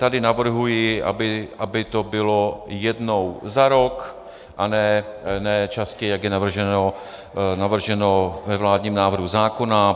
Tady navrhuji, aby to bylo jednou za rok a ne častěji, jak je navrženo ve vládním návrhu zákona.